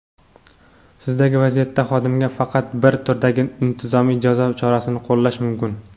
sizdagi vaziyatda xodimga faqat bir turdagi intizomiy jazo chorasini qo‘llash mumkin.